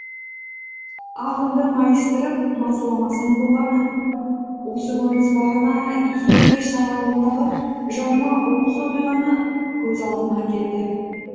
ағынды майыстырып мазаламасаң болғаны осы көрініс бағана екі кеш аралығындағы жаныма оқыс оқиғаны көз алдыма әкелді